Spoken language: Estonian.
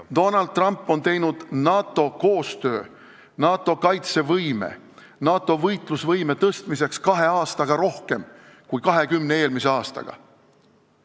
Donald Trump on teinud NATO koostöö, NATO kaitsevõime, NATO võitlusvõime parandamiseks kahe aastaga rohkem, kui tehti 20 eelmise aastaga.